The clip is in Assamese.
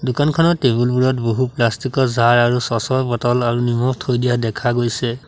দোকানখনত টেবুল বোৰত বহু প্লাষ্টিক ৰ জাৰ আৰু চ'চ ৰ বটল আৰু নিমখ থৈ দিয়া দেখা গৈছে।